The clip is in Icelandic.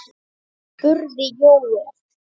spurði Jóel.